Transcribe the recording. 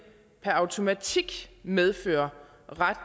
per automatik medfører